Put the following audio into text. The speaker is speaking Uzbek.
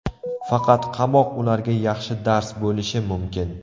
Faqat qamoq ularga yaxshi dars bo‘lishi mumkin.